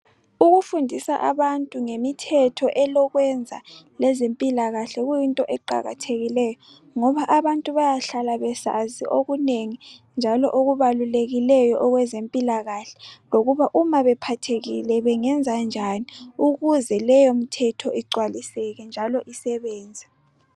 Ukufundisa abantu ngemithetho elokwenza ngezempilakahle kuyinto eqakathekileyo ngoba abantu bayahlala besazi okunengi njalo okubalulekileyo okwezempilakahle, lokuba uma bephathekile bengenza njani ukuze leyo mithetho igcwaliseke njalo isebenze .